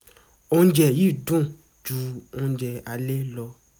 oúnjẹ yìí dùn ju oúnjẹ alẹ́ lọ